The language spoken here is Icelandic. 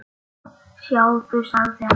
Sjáðu, sagði hann.